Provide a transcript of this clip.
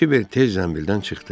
Kiber tez zənbildən çıxdı.